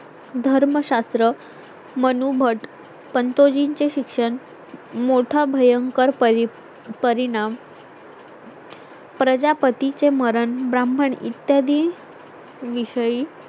धर्मशास्त्र मनू मठ पंतोजी चे शिक्षण मोठा भयंकर परी परिणाम प्रजापती चे मरण, ब्राह्मण इत्यादी विषयी